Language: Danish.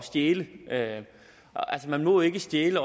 stjæle man må ikke stjæle